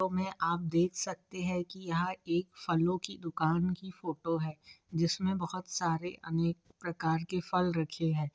Photo में आप देख सकते है की यह एक फलों की दुकान की फोटो है जिसमे बहुत सारे अनेक प्रकार के फल रखे है।